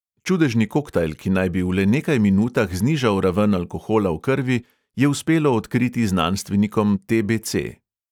Čudežni koktajl, ki naj bi v le nekaj minutah znižal raven alkohola v krvi, je uspelo odkriti znanstvenikom te|be|ce.